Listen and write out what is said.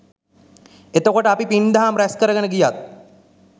එතකොට අපි පින් දහම් රැස්කරගෙන ගියත්